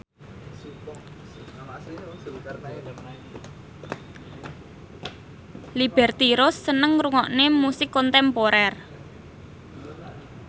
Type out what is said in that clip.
Liberty Ross seneng ngrungokne musik kontemporer